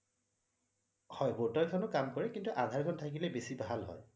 হয় voter খনয়ো কাম কৰে কিন্তু আধাৰ খন থাকিলে বেছি ভাল হয়